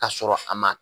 Ka sɔrɔ a ma